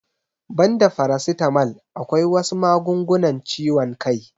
Banda farasitamal akwai wasu magungunan ciwon kai